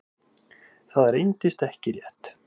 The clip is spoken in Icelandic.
Það reyndist ekki rétt.